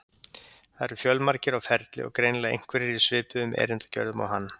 Það eru fjölmargir á ferli og greinilega einhverjir í svipuðum erindagjörðum og hann.